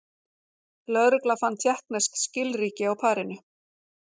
Lögreglan fann tékknesk skilríki á parinu